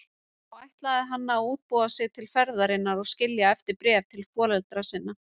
Þá ætlaði hann að útbúa sig til ferðarinnar og skilja eftir bréf til foreldra sinna.